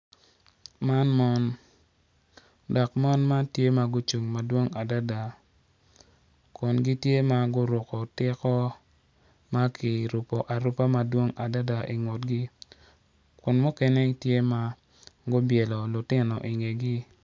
Man mon dok mon man tye ma gucung madwong adada kun gitye ma guruko tiko ma kirupo arupa madwong adada ingutgi kun mukene tye ma gubyelo lutino ingegi.